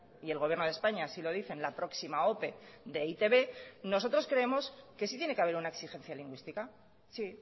y el gobierno de españa así lo dicen la próxima ope de e i te be nosotros creemos que sí tiene que haber una exigencia lingüística sí